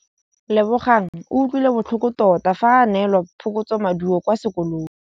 Lebogang o utlwile botlhoko tota fa a neelwa phokotsômaduô kwa sekolong.